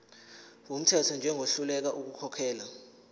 wumthetho njengohluleka ukukhokhela